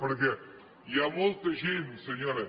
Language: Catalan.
perquè hi ha molta gent senyora